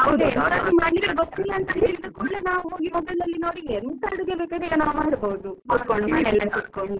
ಎಂತಾದ್ರೂ ಮಾಡ್ಲಿಕ್ಕೆ ಗೊತ್ತಿಲ್ಲ ಅಂತ ಹೇಳಿದ ಕುಡ್ಲೆ ನಾವ್ ಹೋಗಿ mobile ನೋಡಿ ಎಂತ ಅಡುಗೆ ಬೇಕಾದ್ರು ಈಗ ನಾವ್ ಮಾಡಬೋದು, ಕುತ್ಕೊಂಡು ಮನೇಲೆ ಕುತ್ಕೊಂಡು.